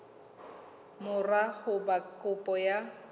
mora ho ba kopo ya